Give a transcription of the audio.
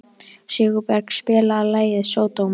Sigurberg, spilaðu lagið „Sódóma“.